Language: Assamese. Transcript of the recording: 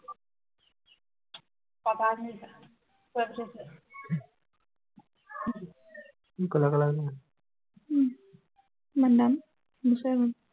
উম কিমান দাম, নোচোৱাই ভাল।